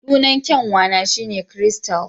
Sunan kyanwa na shi ne Crystal